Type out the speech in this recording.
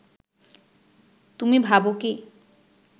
তুমি ভাব কি